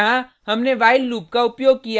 यहाँ हमने while loop का उपयोग किया है